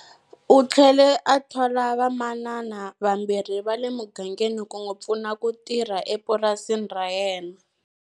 U tlhele a thola vamanana vambirhi va le mugangeni ku n'wi pfuna ku tirha epurasini ra yena.